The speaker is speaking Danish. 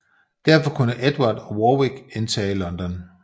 Derfor kunne Edvard og Warwick indtage London